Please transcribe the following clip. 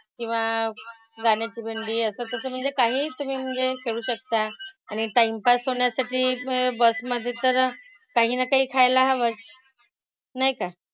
किंवा गाण्याची भेंडी असं तसं म्हणजे काहीही तुम्ही म्हणजे खेळू शकता. आणि अं time pass होण्यासाठी म्हणजे bus मधे तर काही ना काही खायला हवंच. नाही का?